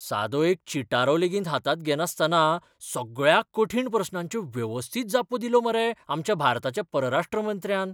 सादो एक चिटारो लेगीत हातांत घेनासतना सगळ्या कठीण प्रस्नांच्यो वेवस्थीत जापो दिल्यो मरे आमच्या भारताच्या परराश्ट्र मंत्र्यान!